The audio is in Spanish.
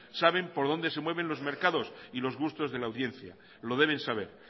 saben por donde se mueven los mercados y los gustos de la audiencia lo deben saber